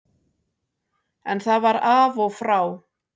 En það var af og frá.